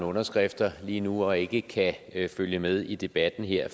underskrifter lige nu og ikke kan følge med i debatten her